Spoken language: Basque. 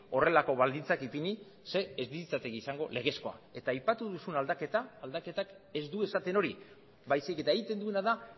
horrelako baldintzak ipini ze ez litzateke izango legezkoa eta aipatu duzun aldaketa aldaketak ez du esaten hori baizik eta egiten duena da